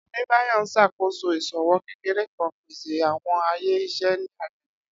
Adebayor n ṣakoso iṣowo kekere kan, pese awọn aye iṣẹ ni agbegbe.